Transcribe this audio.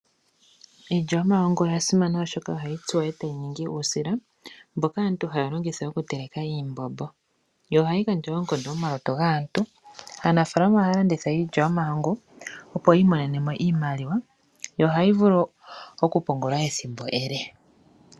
Iilya yomahangu oya simana, oshoka ohayi tsuwa e tayi ningi uusila mboka aantu haya longitha okuteleka iimbombo. Ohayi gandja oonkondo momalutu gaantu. Aanafaalama ohaya landitha iilya yomahangu, opo yi imonene mo iimaliwa yo ohayi vulu okupungulwa ethimbo ele.